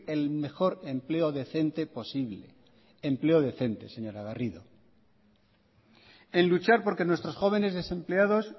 el mejor empleo decente posible empleo decente señora garrido en luchar porque nuestros jóvenes desempleados